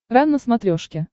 рен на смотрешке